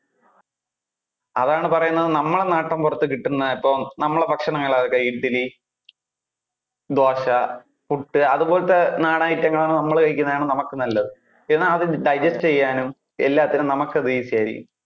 അതാണ് പറയുന്നത്, നമ്മളുടെ നാട്ടിൻപുറത്തു കിട്ടുന്ന ഇപ്പൊ നമ്മളുടെ ഭക്ഷണങ്ങൾ ഒക്കെ ഇഡലി, ദോശ, പുട്ട് അതുപോലത്തെ നാടൻ item നമ്മൾ കഴിക്കുന്നതാണ് നമുക്ക് നല്ലതു എന്നാൽ അത് digest ചെയ്യാനും എല്ലാത്തിനും നമുക്ക് അത് easy ആയിരിക്കും.